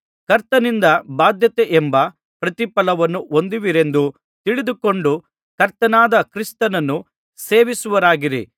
ಕರ್ತನಿಂದ ಬಾಧ್ಯತೆಯೆಂಬ ಪ್ರತಿಫಲವನ್ನು ಹೊಂದುವಿರೆಂದು ತಿಳಿದುಕೊಂಡು ಕರ್ತನಾದ ಕ್ರಿಸ್ತನನ್ನು ಸೇವಿಸುವವರಾಗಿರಿ